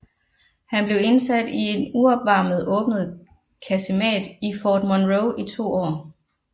Han blev indsat i en uopvarmet åben kasemat i Fort Monroe i to år